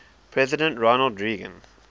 president ronald reagan